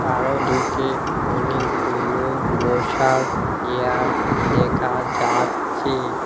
আরো দিকে অনেকগুলো বসার চেয়ার দেকা যাচ্চে।